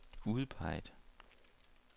udpeget